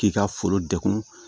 K'i ka foro degun